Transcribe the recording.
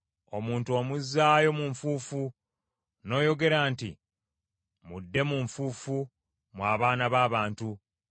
Omuntu omuzzaayo mu nfuufu, n’oyogera nti, “Mudde mu nfuufu, mmwe abaana b’abantu.”